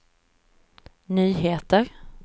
nyheter